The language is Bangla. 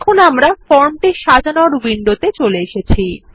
এখন আমরা ফর্ম ডিজাইন উইন্ডোতে চলে এসেছি